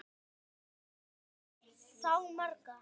Börnin eiga þá marga